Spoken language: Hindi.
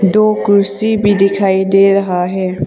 दो कुर्सी भी दिखाई दे रहा है।